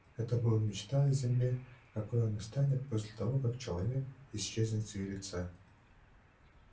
это была мечта о земле какой она станет после того как человек исчезнет с её лица